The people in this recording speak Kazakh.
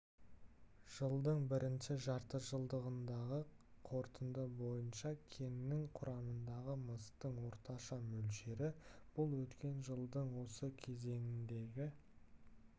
жылдың бірінші жартыжылдығындағы қорытынды бойынша кеннің құрамындағы мыстың орташа мөлшері болды бұл өткен жылдың осы кезеңіндегі